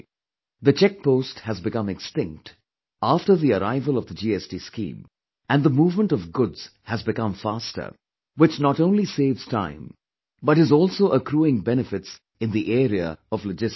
The check post has become extinct after the arrival of the GST scheme and the movement of goods has become faster, which not only saves time but is also accruing benefits in the areaof logistics